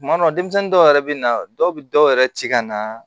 Tuma dɔ la denmisɛnnin dɔw yɛrɛ bɛ na dɔw bɛ dɔw yɛrɛ ci ka na